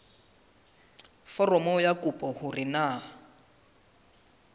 foromong ya kopo hore na